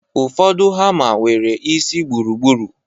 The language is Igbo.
Ụfọdụ hama nwere isi gburugburu